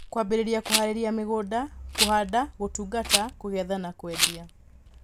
Kwambĩrĩria kuharĩrĩria mũgũnda, kũhanda, gũtungata, kũgetha na kwendia.